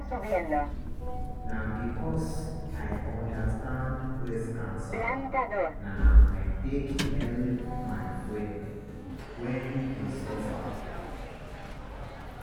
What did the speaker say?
na because i undestand breast cancer na i take help my friend wen dey suffer.